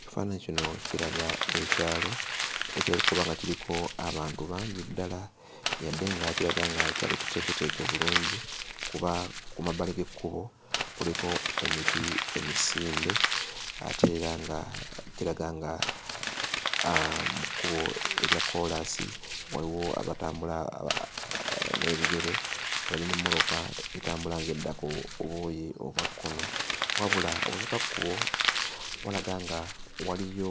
Ekifaananyi kino kiraga ekyalo, ekirabika okuba nga kiriko abantu bangi ddala yadde nga kiraga nga kyalo kiteeketeeke bulungi kuba ku mabbali g'ekkubo kuliko emiti emisimbe ate era nga kiraga nga mu kkubo erya koolaasi waliwo abatambula n'ebigere, waliwo n'emmotoka etambula ng'edda ku buuyi obwa kkono. Wabula obusukkakkubo walaga nga waliyo